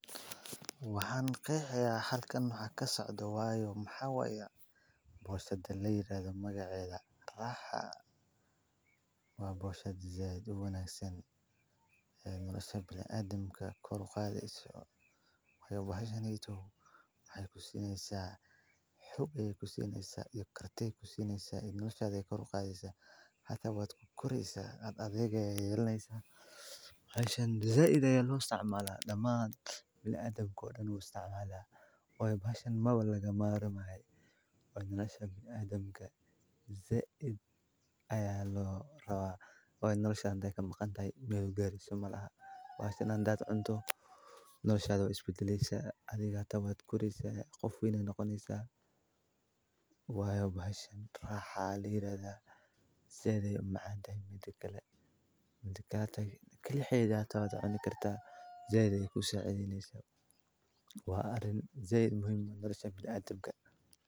Waxaan kayxayaa halkan nux ka socdo Waayo Maxawaya. Boooshasada la yiraahdo magaceeda. Raaxaa waa boshad zeed u wanaagsan ee nolosha bilaa aadamka kuluqaadeyso. Way ku bahashanayto, way ku siineysaa xub, ay ku siineysa iyo kartid ku siineysaa, noloshaada ay kuluqaadeyso hata waad ku koraysa adagayga yeelaneysa. Bahashan za ida loo isticmaalaa dammaanada bilaa aadamku oo dhulani uu isticmaalaa, way bahashan ma balaga maal u mahay. Way noloshaad ay ka macan tahay meygari somalaha. Waashan aan da'da cunto, noloshaada u isbitilaysa, adiga ta waa ad koraysa qof wiina noqonaysa. Waayo bahashan raaxaa la yiraahdaa, zeeday macaan tahay midigga lagay, midikaanaya kelixeedaa aad u ni kartaa. Zeeday ku saacadiinaysa waa arin zeed muhiima nolosha bilaa aadamka.